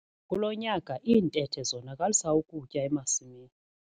Kulo nyaka iintethe zonakalisa ukutya emasimini.